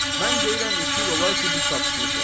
Mən deyirəm iki il olar ki, biz tapışmışıq.